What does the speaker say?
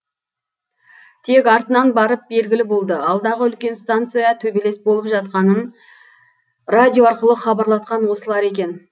тек артынан барып белгілі болды алдағы үлкен станцияға төбелес болып жатқанын радио арқылы хабарлатқан осылар екен